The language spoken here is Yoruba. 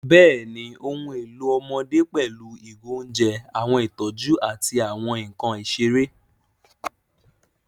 Bẹ́ẹ̀ni, ohun èlò ọmọdé pẹ̀lú ìgò oúnjẹ, àwọn ìtọ́jú, àti àwọn nkan ìṣeré.